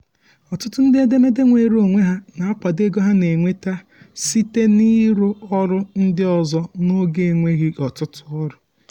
ọtụtụ ndị edemede nweere onwe ha um na-akwado ego ha na-enweta site n'ịrụ ọrụ ndị ọzọ n'oge enweghị ọtụtụ ọrụ. um